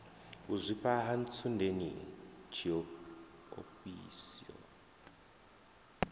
u zwifha ha ntsundeni tshiofhiso